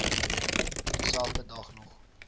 dieselfde dag nog